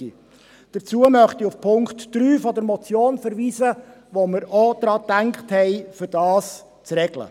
Dazu verweise ich auf den Punkt 3 der Motion, wo wir auch daran gedacht haben, das zu regeln.